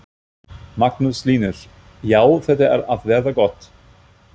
Magnús Hlynur: Já, þetta er að verða gott?